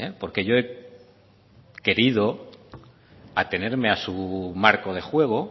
porque yo he querido atenerme a su marco de juego